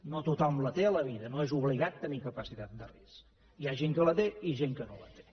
no tothom la té a la vida no és obligat tenir capacitat de risc hi ha gent que la té i gent que no la té